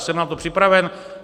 Jsem na to připraven.